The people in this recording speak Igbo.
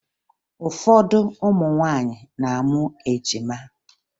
Ụfọdụ ụmụ nwaanyị na-amụ ejima